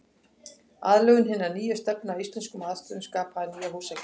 Aðlögun hinnar nýju stefnu að íslenskum aðstæðum skapaði nýja húsagerð.